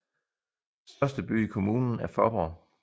Største by i kommunen er Faaborg